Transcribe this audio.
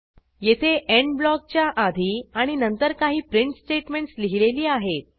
येथे एंड ब्लॉकच्या आधी आणि नंतर काही प्रिंट स्टेटमेंटस लिहिलेली आहेत